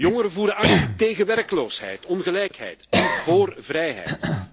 Jongeren voeren actie tegen werkloosheid, ongelijkheid en vóór vrijheid.